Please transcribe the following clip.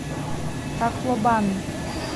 таклобан